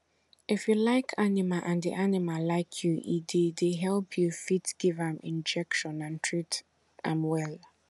if you like animal and di animal like you e dey dey help you fit give am injection and treat am well